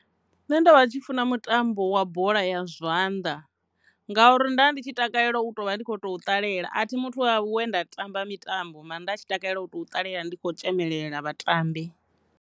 Nṋe ndo vha tshi funa mutambo wa bola ya zwanḓa, ngauri nda ndi tshi takalela u tovha ndi kho to ṱalela a thi muthu wa we nda tamba mitambo mara nda tshi takalela u tou ṱalela ndi khou tzhemelela vhatambi.